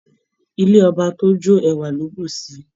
Ilé ọba tí ó jó ẹwà ló bù síí.